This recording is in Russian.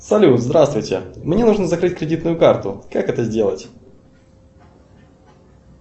салют здравствуйте мне нужно закрыть кредитную карту как это сделать